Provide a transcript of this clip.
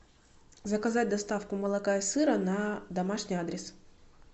заказать доставку молока и сыра на домашний адрес